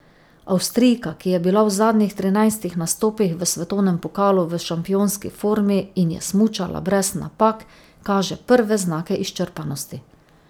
Avstrijka, ki je bila v zadnjih trinajstih nastopih v svetovnem pokalu v šampionski formi in je smučala brez napak, kaže prve znake izčrpanosti.